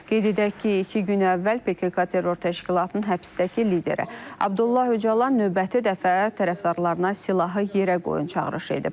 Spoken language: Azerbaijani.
Qeyd edək ki, iki gün əvvəl PKK terror təşkilatının həbsdəki lideri Abdullah Öcalan növbəti dəfə tərəfdarlarına silahı yerə qoyun çağırışı edib.